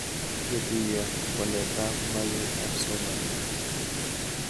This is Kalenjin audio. Ketuyo waletab magetab somanet